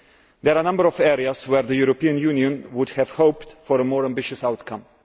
There are number of areas where the European Union would have hoped for a more ambitious outcome.